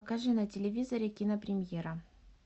покажи на телевизоре кинопремьера